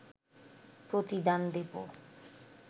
প্রতিদান দেব